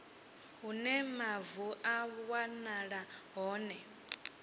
hune mavu a wanala hone